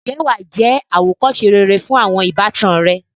ǹjẹ́ wà á jẹ́ àwòkọ́se rere fún àwọn ìbátan rẹ.